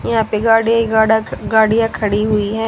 यहां पे गाड़ियां ही गाडा गाड़ियां खड़ी हुई हैं।